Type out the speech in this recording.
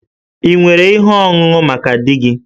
Ị nwere ihe ọṅụṅụ maka di gị?